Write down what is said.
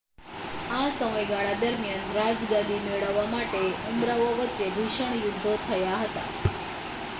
આ સમયગાળા દરમિયાન રાજગાદી મેળવવા માટે ઉમરાવો વચ્ચે ભીષણ યુદ્ધો થયા હતા